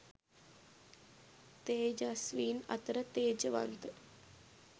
තේජස්වීන් අතර තේජවන්ත